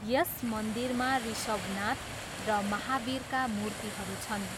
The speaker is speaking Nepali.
यस मन्दिरमा ऋषभनाथ र महावीरका मूर्तिहरू छन्।